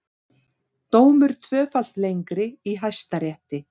Dómur tvöfalt lengri í Hæstarétti